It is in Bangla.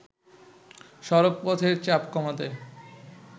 সড়কপথের চাপ কমাতে